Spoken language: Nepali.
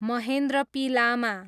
महेन्द्र पी लामा